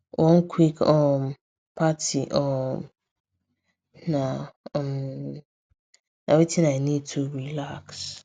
one quick um party um na um na wetin i need to relax